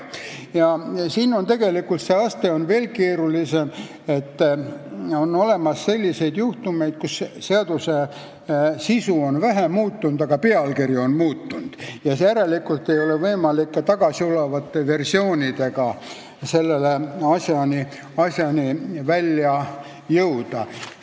Asja teeb tegelikult keerulisemaks see, et on juhtumeid, kus seaduse sisu on vähe muutunud, aga pealkiri on muutunud, ja sel juhul ei ole võimalik ka varasemate versioonide otsimise teel nende tekstideni jõuda.